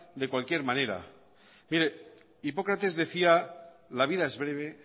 de cualquier manera mire hipócrates decía la vida es breve